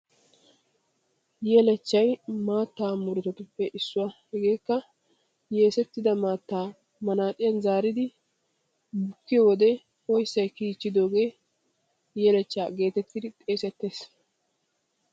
Yeechchay maattaa murutatuppe issuwa. Hegeekka yeesettida maattaa manaaciyan tigidi bukkidoogee yeechchaa geetettii xeesettes.